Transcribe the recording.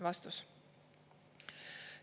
" Vastus.